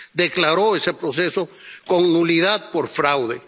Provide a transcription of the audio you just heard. Declaró ese proceso con nulidad por fraude.